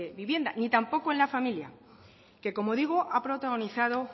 vivienda ni tampoco en la familia que como digo ha protagonizado